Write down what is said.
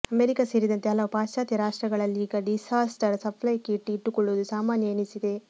America ಸೇರಿದಂತೆ ಹಲವು ಪಾಶ್ಚಾತ್ಯ ರಾಷ್ಟ್ರಗಳಲ್ಲೀಗ ಡಿಸಾಸ್ಟರ್ ಸಪ್ಲೈ ಕಿಟ್ ಇಟ್ಟುಕೊಳ್ಳುವುದು ಸಾಮಾನ್ಯ ಎನಿಸಿದೆ